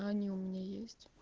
а они у меня есть